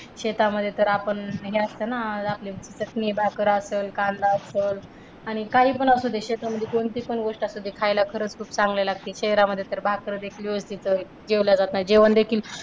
शेतामध्ये तर आपण हे असत ना आपले चटणी भाकर असल कांदा असल आणि काही पण असुदे शेतामध्ये कोणती पण गोष्ट असू दे खायला खरच खूप चांगली लागते शहरांमध्ये भाकर देखील व्यवस्थित जेवल्या जात नाही. जेवण देखील